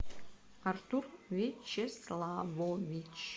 артур вячеславович